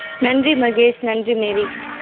நன்றி மகேஷ், நன்றி மேரி